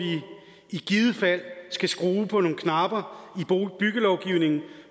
i givet fald skal skrue på nogle knapper i byggelovgivningen